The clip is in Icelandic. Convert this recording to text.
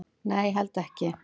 """Nei, ég held ekki."""